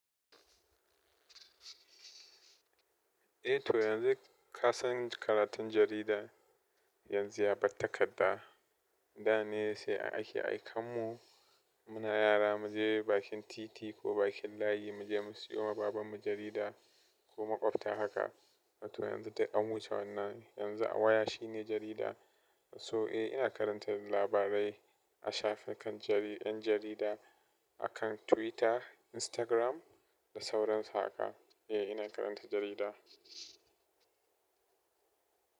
Eh to yanzu ka san karatun jarida yanzu ya bar takadda. Da ne se a aikanmu muna yara muje bakin titi ko muje layi, muje mu seyawa babanmu jarida. To yanzu duk an wuce wannan, yanzu waya shine jarida. Toh eh ina karanta labarai na shafukan yan jarida akan Twitter Instagram da sauransu haka. Eh ina karanta jarida.